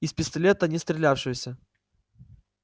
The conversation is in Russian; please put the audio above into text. из пистолета не отстреляешься